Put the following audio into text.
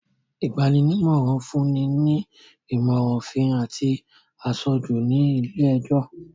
Ìgban-nímọ̀ràn fún ni ìmọ̀ràn òfin àti aṣojú ní ilé-ẹjọ̀